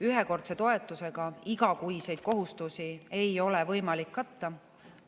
Ühekordse toetusega igakuiseid kohustusi ei ole võimalik katta.